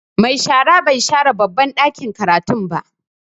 Mai shara bai share babban ɗakin karatun ba.